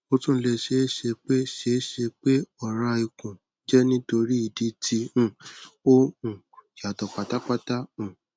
ó tún lè ṣeé ṣe pé ṣeé ṣe pé ọra ikun jẹ nítorí ìdí tí um ó um yàtọ̀ pátápátá um